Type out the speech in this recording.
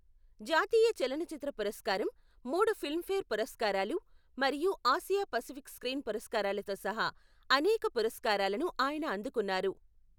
జాతీయ చలనచిత్ర పురస్కారం, మూడు ఫిల్మ్ఫేర్ పురస్కారాలు మరియు ఆసియా పసిఫిక్ స్క్రీన్ పురస్కారాలతో సహా అనేక పురస్కారాలను ఆయన అందుకున్నారు.